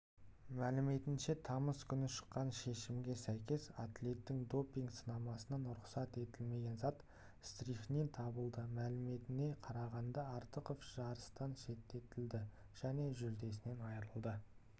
мәліметінше тамыз күні шыққан шешімге сәйкес атлеттің допинг-сынамасынан рұқсат етілмеген зат стрихнин табылды мәліметіне қарағанда артықов жарыстан шеттетілді және жүлдесінен айрылды